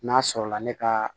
N'a sɔrɔla ne ka